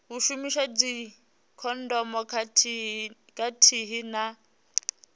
u shumisa dzikhondomu khathihi na